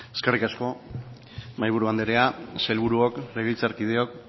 eskerrik asko mahaiburu andrea sailburuok legebiltzarkideok